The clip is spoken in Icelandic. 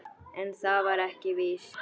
En það var ekki víst.